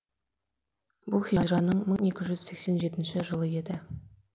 бұл хижраның мың екі жүз сексен жетінші жылы еді